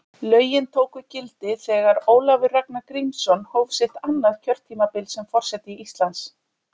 Lögin tóku gildi þegar Ólafur Ragnar Grímsson hóf sitt annað kjörtímabil sem forseti Íslands.